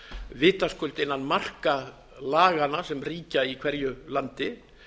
vitaskuld innan marka laganna sem ríkja í hverju landi